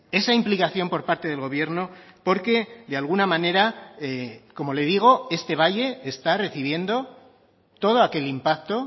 esa implicación por parte del gobierno porque de alguna manera como le digo este valle está recibiendo todo aquel impacto